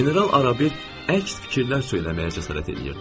General Arabət əks fikirlər söyləməyə cəsarət eləyirdi.